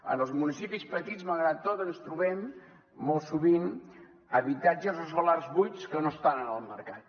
en els municipis petits malgrat tot ens trobem molt sovint habitatges o solars buits que no estan en el mercat